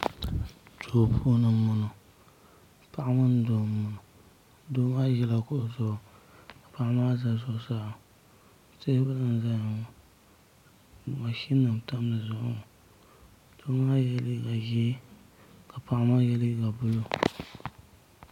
duu puuni n boŋo paɣa mini doo n boŋo doo maa ʒila gɛro zuɣu ka paɣa maa ʒi zuɣusaa teebuli n ʒɛya ŋo mashin nim n tam dizuɣu ŋo doo maa yɛ liiga ʒiɛ ka paɣa maa yɛ liiga buluu